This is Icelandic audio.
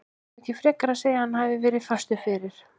Eigum við ekki frekar að segja að hann hafi verið fastur fyrir?